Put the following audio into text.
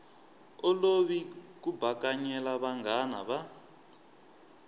olovi ku bakanyela vanghana va